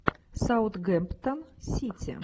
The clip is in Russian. саунтгемптон сити